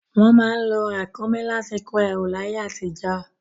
Wọ́n má ń lo ràkúnmí láti kó ẹrù láyé àtijọ́.